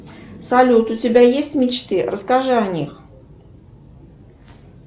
салют у тебя есть мечты расскажи о них